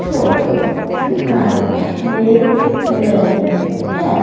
Photo दिखाई दे रही है।